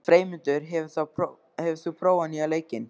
Freymundur, hefur þú prófað nýja leikinn?